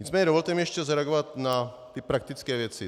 Nicméně dovolte mi ještě zareagovat na ty praktické věci.